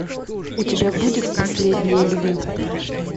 у тебя будет последние львы